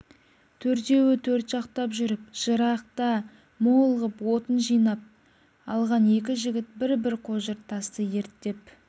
төртеуі төрт жақтап жүріп жарықта мол ғып отын жинап алған екі жігіт бір-бір қожыр тасты ерттеп